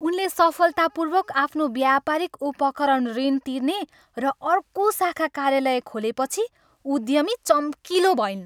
उनले सफलतापूर्वक आफ्नो व्यापारिक उपकरण ऋण तिर्ने र अर्को शाखा कार्यालय खोलेपछि उद्यमी चम्किलो भइन्।